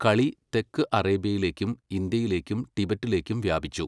കളി തെക്ക് അറേബ്യയിലേക്കും ഇന്ത്യയിലേക്കും ടിബറ്റിലേക്കും വ്യാപിച്ചു.